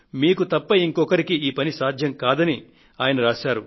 మీకు తప్ప ఇంకొకరికి ఈ పని సాధ్యం కాదు అంటూ ఆయన రాశారు